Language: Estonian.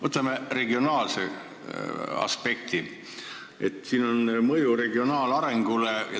Võtame regionaalse aspekti, mõju regionaalarengule.